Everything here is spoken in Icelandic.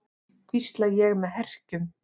hvísla ég með herkjum.